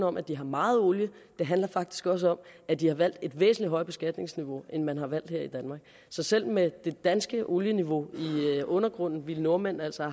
om at de har meget olie det handler faktisk også om at de har valgt et væsentlig højere beskatningsniveau end man har valgt her i danmark så selv med det danske olieniveau i undergrunden ville nordmændene altså